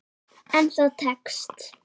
En það tekst.